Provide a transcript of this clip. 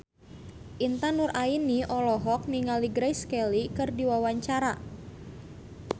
Intan Nuraini olohok ningali Grace Kelly keur diwawancara